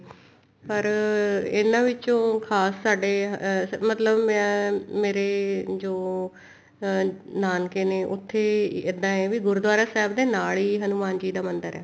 ਪਰ ਇਹਨਾ ਵਿੱਚੋਂ ਖਾਸ ਸਾਡੇ ਮਤਲਬ ਮੈਂ ਮੇਰੇ ਜੋ ਅਹ ਨਾਨਕੇ ਨੇ ਉੱਥੇ ਇੱਦਾਂ ਏ ਵੀ ਗੁਰੂਦੁਆਰਾ ਸਾਹਿਬ ਦੇ ਨਾਲ ਹੀ ਹਨੁਮਾਨ ਜੀ ਦਾ ਮੰਦਿਰ ਹੈ